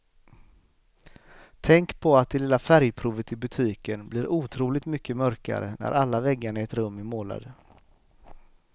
Tänk på att det lilla färgprovet i butiken blir otroligt mycket mörkare när alla väggarna i ett rum är målade.